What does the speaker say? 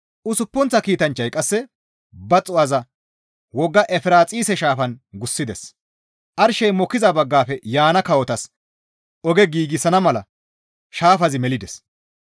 Usuppunththa kiitanchchay qasse ba xuu7aza wogga Efiraaxise shaafan gussides; arshey mokkiza baggafe yaana kawotas oge giigsana mala shaafazi melides.